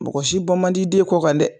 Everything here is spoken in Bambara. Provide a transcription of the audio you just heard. Mɔgɔ si bɔ man d'i den kɔ kan dɛ.